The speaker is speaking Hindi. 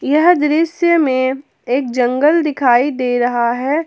यह दृश्य में एक जंगल दिखाई दे रहा है।